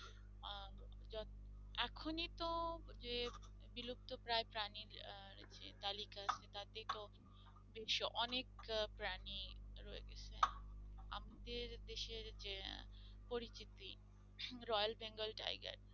যে বিলুপ্তপ্রায় প্রাণীর যে তালিকা তাতে তো বেশ অনেক প্রাণী রয়েছে। আমাদের দেশের যে পরিচিতি রয়েল বেঙ্গল টাইগার